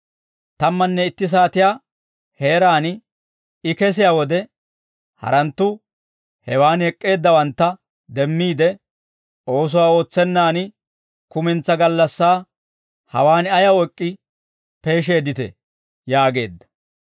Tammanne itti saatiyaa heeraan I kesiyaa wode, haranttu hewaan ek'k'eeddawantta demmiide, ‹Oosuwaa ootsennaan kumentsaa gallassaa hawaan ayaw ek'k'i peesheedditee?› yaageedda.